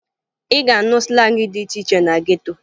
Ị ga-anụ slangị dị iche iche na geto